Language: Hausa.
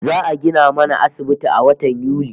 Za'a gina mana asibiti a watan Yuli